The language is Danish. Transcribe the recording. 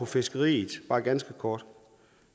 fiskeriet bare ganske kort